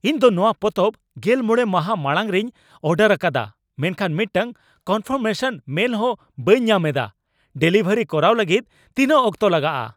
ᱤᱧ ᱫᱚ ᱱᱚᱶᱟ ᱯᱚᱛᱚᱵ ᱜᱮᱞ ᱢᱚᱬᱮ ᱢᱟᱦᱟ ᱢᱟᱲᱟᱝ ᱨᱮᱧ ᱚᱰᱟᱨ ᱟᱠᱟᱫᱟ, ᱢᱮᱱᱠᱷᱟᱱ ᱢᱤᱫᱴᱟᱝ ᱠᱚᱱᱯᱷᱟᱨᱢᱮᱥᱚᱱ ᱢᱮᱞ ᱦᱚᱸ ᱵᱟᱹᱧ ᱧᱟᱢ ᱮᱫᱟ ᱾ ᱰᱮᱞᱤᱵᱷᱟᱨ ᱠᱚᱨᱟᱣ ᱞᱟᱹᱜᱤᱫ ᱛᱤᱱᱟᱹᱜ ᱚᱠᱛᱚ ᱞᱟᱜᱟᱜᱼᱟ ?